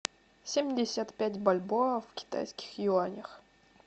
семьдесят пять бальбоа в китайских юанях